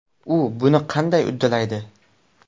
U buni qanday uddalaydi?